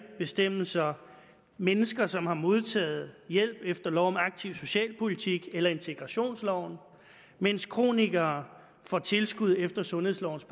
bestemmelser mennesker som har modtaget hjælp efter lov om aktiv socialpolitik eller integrationsloven mens kronikere får tilskud efter sundhedslovens